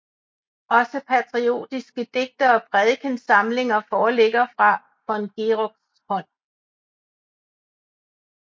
Også patriotiske digte og prædikensamlinger foreligger fra von Geroks hånd